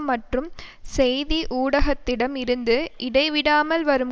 மற்றும் செய்தி ஊடகத்திடம் இருந்து இடைவிடாமல் வரும்